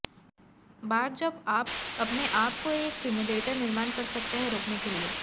बार जब आप अपने आप को एक सिम्युलेटर निर्माण कर सकते हैं रोकने के लिए